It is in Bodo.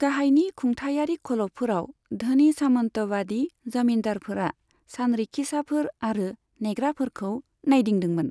गाहायनि खुंथायारि खलबफोराव, धोनि सामन्तबादि जमीन्दारफोरा सानरिखिसाफोर आरो नेग्राफोरखौ नायदिंदोंमोन।